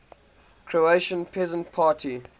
croatian peasant party